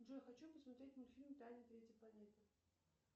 джой хочу посмотреть мультфильм тайна третей планеты